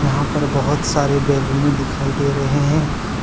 यहां पर बहुत सारे बैलूने दिखाई दे रहे हैं।